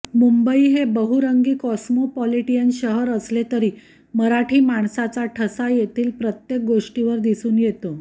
मुंबई हे बहुरंगी कॉस्मॉपॉलिटियन शहर असले तरी मराठी माणसाचा ठसा येथील प्रत्येक गोष्टीवर दिसून येतो